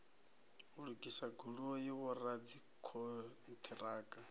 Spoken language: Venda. u lugisa goloi vhoradzikhon ṱiraka